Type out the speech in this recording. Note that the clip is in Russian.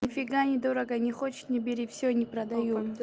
нифига не дорого не хочешь не бери все не продаю